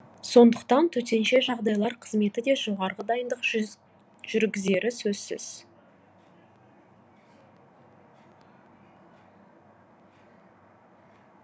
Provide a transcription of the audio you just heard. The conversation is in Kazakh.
сондықтан төтенше жағдайлар қызметі де жоғарғы дайындық жүргізері сөзсіз